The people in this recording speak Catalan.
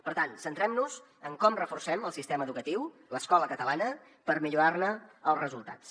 per tant centrem nos en com reforcem el sistema educatiu l’escola catalana per millorar ne els resultats